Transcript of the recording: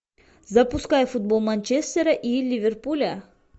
запускай футбол манчестера и ливерпуля